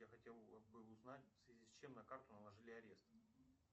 я хотел бы узнать в связи с чем на карту наложили арест